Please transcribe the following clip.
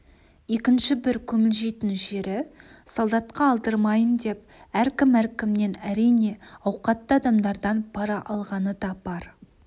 екінші бір күмілжитін жері солдатқа алдырмайын деп әркім-әркімнен әрине ауқатты адамдардан пара алғаны да бар